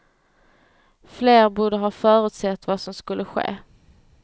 Fler borde ha förutsett vad som skulle ske.